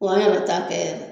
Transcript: Wa ne bɛ taa kɛ